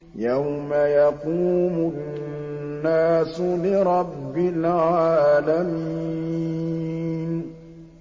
يَوْمَ يَقُومُ النَّاسُ لِرَبِّ الْعَالَمِينَ